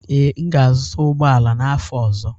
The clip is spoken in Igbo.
Ee, m ga-azụta ụgbọ ala n'afọ ọzọ.